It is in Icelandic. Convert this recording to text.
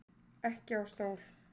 Ekki á stól.